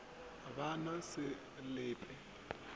ba na se le pe